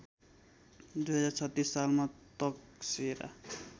२०३६ सालमा तकसेरा